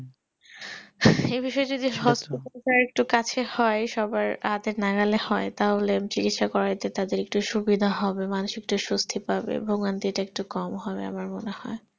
এই বিষয়টা যদি hospital একটু কাছে হয় বা নাগালে হয় তাহলে তাদের চিকিৎসা করতে সুবিধা হবে তারা মানুষিক ভাবে সুস্তি পাবে ভুগান্তি টা একটু কম হবে